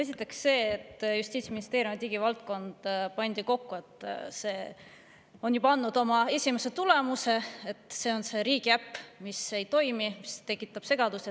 Esiteks, see, et Justiitsministeerium ja digivaldkond pandi kokku, on juba andnud esimese tulemuse: see on see riigiäpp, mis ei toimi ja tekitab segadust.